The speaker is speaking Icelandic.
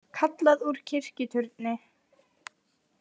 Kallað úr kirkjuturni